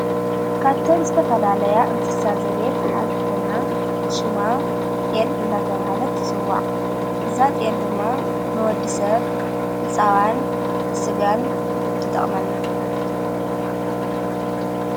ካብተም ዝተፈላለያ እንስሳ ዘቤት ሓንቲ ኾይና ሽማ ጢል እንዳተ ብሃለት ትጽዋዕ እዛ ጤል ድማ ንወዲ ሰብ ዝዋን ብሥጋን ክጠቕመና::